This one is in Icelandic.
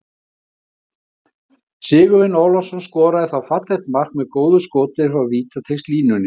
Sigurvin Ólafsson skoraði þá fallegt mark með góðu skoti frá vítateigslínunni.